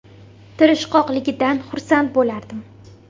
Tirishqoqligidan xursand bo‘lardim.